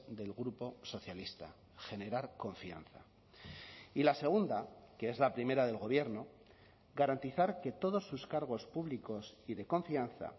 del grupo socialista generar confianza y la segunda que es la primera del gobierno garantizar que todos sus cargos públicos y de confianza